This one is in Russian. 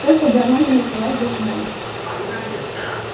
только бы она не началась до смены